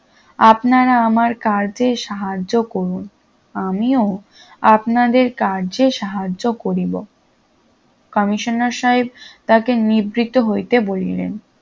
আপনারা আমার কার্যে সাহায্য করুন আমিও আপনাদের কার্যে সাহায্য করি কমিশনার সাহেব তাকে নিবৃত হইতে বলিলেন